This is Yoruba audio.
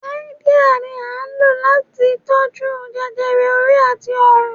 Háídíà ni à ń lò láti tó jú jẹjẹrẹ orí àti ọrùn